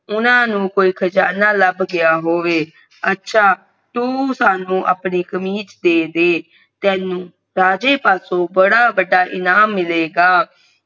ਓਹਨਾ ਨੂੰ ਕੋਈ ਖਜਾਨਾ ਲੱਭ ਗਯਾ ਹੋਵੇ ਅੱਛਾ ਤੂੰ ਸਾਨੂ ਆਪਣੀ ਕਮੀਜ ਦੇਦੇ ਤੈਨੂੰ ਰਾਜੇ ਪਾਸੋ ਬੜਾ ਵੱਡਾ ਇਨਾਮ ਮਿਲੇਗਾ ਓ ਇਕੱਠੇ ਹੀ ਬੋਲ ਪਏ ਹਾਂ ਮੈਂ ਬੜਾ ਖੁਸ਼ੀ ਸੁਖੀ ਹਾ ਇੰਦਾ ਬੋਲਿਆ ਸਿਪਾਹੀ ਸੁਨ ਕੇ ਬਹੁਤ ਖੁਸ਼ ਹੋਏ ਜਿਵੇਂ